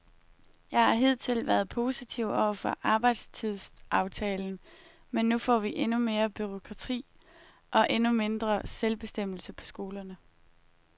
Jeg har hidtil været positiv over for arbejdstidsaftalen, men nu får vi endnu mere bureaukrati og endnu mindre selvbestemmelse på skolerne.